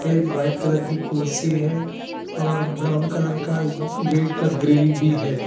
एक white colour की कुर्सी है और ब्राउन कलर का इस गेट का ग्रेली भी है।